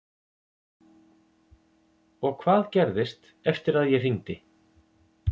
Og hvað gerðist eftir að ég hringdi?